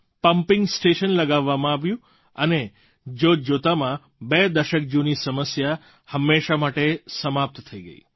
pumping station લગાવવામાં આવ્યું અને જોતજોતામાં બે દશક જૂની સમસ્યા હંમેશાં માટે સમાપ્ત થઈ ગઈ